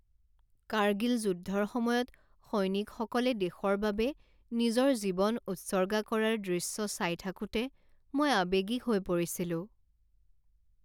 কাৰ্গিল যুদ্ধৰ সময়ত সৈনিকসকলে দেশৰ বাবে নিজৰ জীৱন উৎসৰ্গা কৰাৰ দৃশ্য চাই থাকোঁতে মই আৱেগিক হৈ পৰিছিলোঁ।